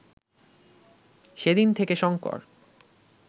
সেদিন থেকে শঙ্কর